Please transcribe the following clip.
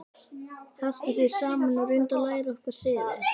Haltu þér saman og reyndu að læra okkar siði.